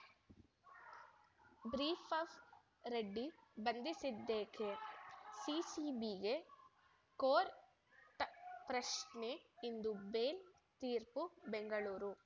ಬ್ರೀಫ್‌ಫ್‌ ರೆಡ್ಡಿ ಬಂಧಿಸಿದ್ದೇಕೆ ಸಿಸಿಬಿಗೆ ಕೋರ್ಟ್ ಪ್ರಶ್ನೆ ಇಂದು ಬೇಲ್‌ ತೀರ್ಪು ಬೆಂಗಳೂರು